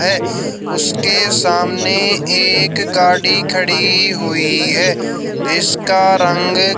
है उसके सामने एक गाड़ी खड़ी हुई है जिसका रंग--